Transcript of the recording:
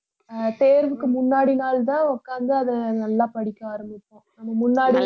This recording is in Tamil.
ஆஹ் தேர்வுக்கு முன்னாடி நாள்தான் உட்கார்ந்து அதை நல்லா படிக்க ஆரம்பிப்போம் நம்ம முன்னாடி